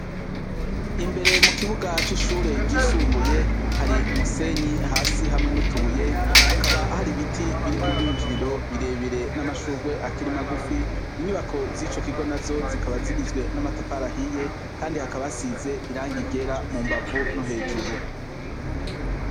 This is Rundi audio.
Imbere mu kibuga c'ishure ryisumbuye hari umusenyi hasi hamwe n'utubuye, hakaba hari ibiti biri ku rwinjiriro birebire n'amashurwe akiri magufi. Inyubako z'ico kigo nazo zikaba zigizwe n'amatafari ahiye kandi hakaba hasize irangi ryera mu mbavu no hejuru.